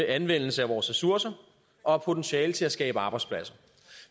anvendelse af vores ressourcer og har potentiale til at skabe arbejdspladser